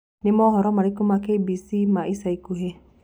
Nĩ mohoro marĩkũ na k.b.c ma ĩca ĩkũhĩ